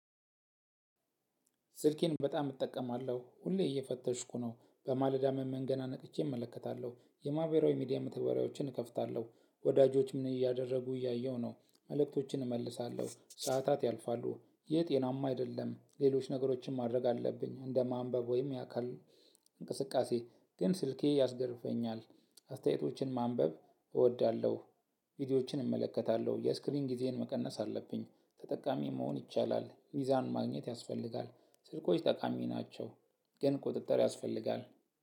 ስልኬን በጣም እጠቀማለሁ ሁሌ እየፈተሽኩ ነው በማለዳም ነቅቸ እመለከታለሁ በማህበራዊ ሚዲያ መተዋወሪያዎችን እከፍታለሁ ወዳጆች ምን እያደረጉ እያረጉ ነው መልእክቶችን እመልሳለሁ ሰዓታት ያልፋሉ። ይህጤናማ አይደለም። ሌሎች ነገሮችን ማድረግ አለብኝ እንደ ማንበብ ወይም የአካል እንቅስቃሴ። ግን ስልኬ ያሳንፈኛል አስተያየቶችን ማንበብ እወዳለሁ። ቪዲዮዎችን እመለከታለሁ የስክሪን ጊዜን መቀነስ አለብኝ። ተጠቃሚ መሆን ይቻላል ሚዛን ማግኘት ያስፈልጋል። ስልኮች ጠቃሚ ናቸው ግን ቁጥጥር ያስፈልጋል።